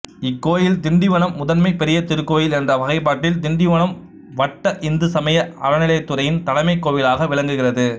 இக்கோயில் திண்டிவனம் முதன்மைப் பெரிய திருக்கோயில் என்ற வகைப்பாட்டில் திண்டிவனம் வட்ட இந்துசமய அறநிலையத்துறையின் தலைமை கோவிலாக விளங்குகிறது